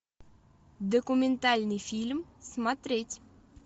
документальный фильм смотреть